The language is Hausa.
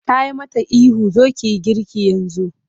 Ta yi mata ihu 'zo ki yi girki yanzu!'